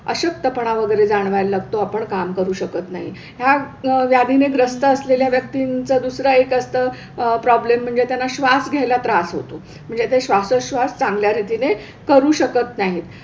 अशक्तपणा वगैरे जाणवायला लागतो, आपण काम करू शकत नाही. ह्या ह्या व्याधीने ग्रस्त असलेल्या व्यक्तींचा दुसरा एक असतं अह प्रॉब्लेम म्हणजे त्यांना श्वास घ्यायला त्रास होतो म्हणजे ते श्वासोच्छ्वास चांगल्या रीतीने करू शकत नाहीत.